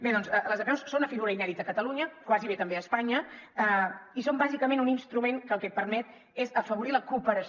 bé doncs les apeus són una figura inèdita a catalunya gairebé també a espanya i són bàsicament un instrument que el que et permet és afavorir la cooperació